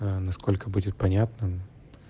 насколько будет понятным